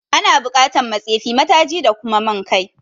Ana bukatan ma tsefi, ma taji da kuma man kai